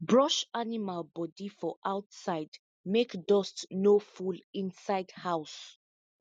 brush animal body for outside make dust no full inside house